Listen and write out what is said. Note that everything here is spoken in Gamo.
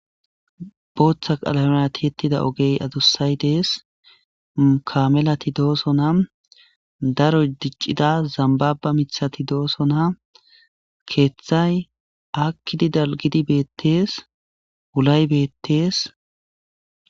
Booththa qalamerati yettida ogey adussay dees ukamelati dooso na daro diccida zambaba mithati doosona keeththay akkidi dalgidi beettees wulay beettees.